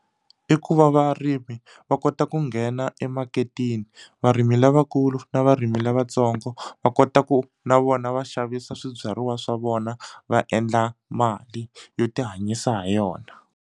I ku va varimi va kota ku nghena emaketeni varimi lavakulu na varimi lavatsongo va kota ku na vona va xavisa swibyariwa swa vona va endla mali yo tihanyisa ha yona.